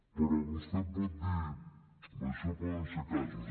però vostè em pot dir això poden ser casos